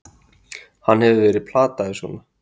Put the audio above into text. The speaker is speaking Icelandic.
Hann hefur verið plataður svona!